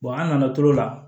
an nana to la